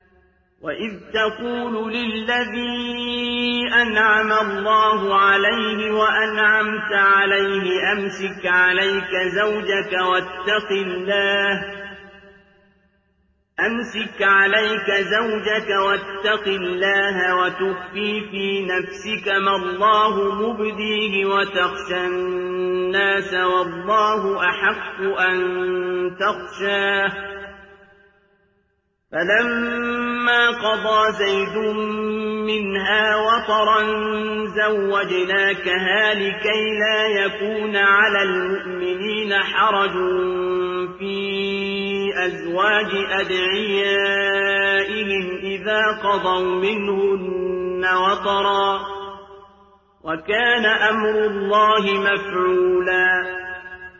وَإِذْ تَقُولُ لِلَّذِي أَنْعَمَ اللَّهُ عَلَيْهِ وَأَنْعَمْتَ عَلَيْهِ أَمْسِكْ عَلَيْكَ زَوْجَكَ وَاتَّقِ اللَّهَ وَتُخْفِي فِي نَفْسِكَ مَا اللَّهُ مُبْدِيهِ وَتَخْشَى النَّاسَ وَاللَّهُ أَحَقُّ أَن تَخْشَاهُ ۖ فَلَمَّا قَضَىٰ زَيْدٌ مِّنْهَا وَطَرًا زَوَّجْنَاكَهَا لِكَيْ لَا يَكُونَ عَلَى الْمُؤْمِنِينَ حَرَجٌ فِي أَزْوَاجِ أَدْعِيَائِهِمْ إِذَا قَضَوْا مِنْهُنَّ وَطَرًا ۚ وَكَانَ أَمْرُ اللَّهِ مَفْعُولًا